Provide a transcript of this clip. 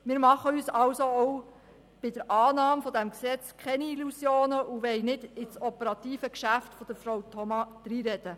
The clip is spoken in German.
Wir machen uns also auch bei der Annahme dieses Gesetzes keine Illusionen und wollen nicht in das operative Geschäft von Frau Thoma hineinreden.